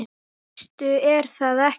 Það veistu er það ekki?